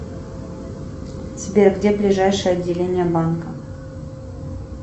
сбер где ближайшее отделение банка